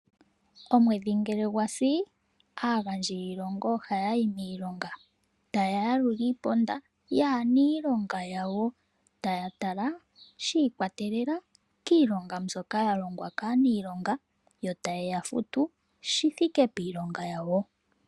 Omwedhi ngele gwasi aagandji yiilonga ohaya yi miilongo taya yalula iimaliwa yaaniilonga yawo, taya tala shiikwatelela kiilongo mbyoka yalongwa kaaniilonga yo ta ye ya futu shithike piilonga yawo.